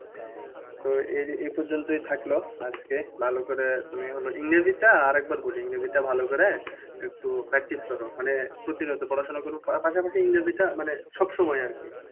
তো এই পর্যন্তই থাকলো আজকে। ভালো করে আমি হলো ইংরেজিটা আরেকবার বলি, ইংরেজিটা ভালো করে একটু practice করো। মানে প্রতিনিয়ত পড়াশোনা করো পাশাপাশি ইংরেজিটা মানে সবসময় আরকি।